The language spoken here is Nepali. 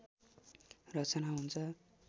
रचना हुन्छ